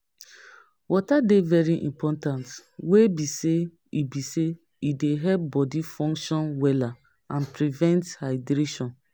Water dey very important wey be say e dey help body function wella and prevent dehydration.